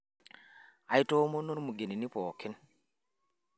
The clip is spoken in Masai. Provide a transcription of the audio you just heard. aitoomona ilmugenini pooki